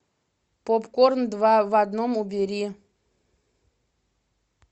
попкорн два в одном убери